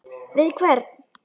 Við hvern?